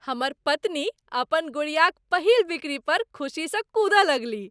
हमर पत्नी अपन गुड़ियाक पहिल बिक्री पर खुसीसँ कूदय लगलीह।